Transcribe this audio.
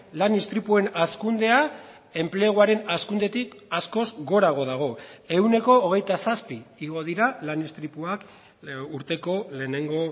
lan istripuen hazkundea enpleguaren hazkundetik askoz gorago dago ehuneko hogeita zazpi igo dira lan istripuak urteko lehenengo